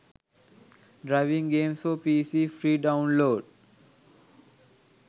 driving games for pc free download